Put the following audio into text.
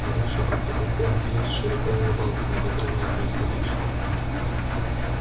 паривший под потолком пивз широко улыбался обозревая происходящее